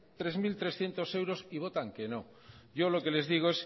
tres mil trescientos euros y votan que no yo lo que les digo